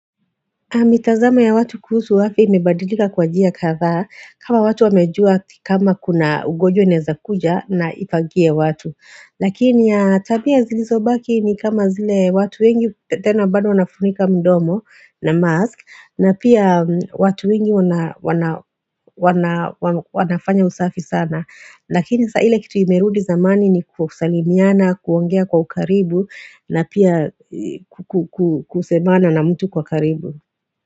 Mitazamo ya watu kuhusu afya imebadilika kwa jia katha kama watu wamejua kama kuna ugojwe neza kuja na ifangie watu. Lakini ya tabia zilizo baki ni kama zile watu wengi tena bado wanafunika mdomo na mask na pia watu wengi wanafanya usafi sana. Lakini saile kitu imerudi zamani ni kusalimiana, kuongea kwa ukaribu na pia kusemana na mtu kwa karibu.